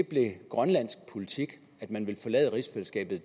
blev grønlands politik at man vil forlade rigsfællesskabet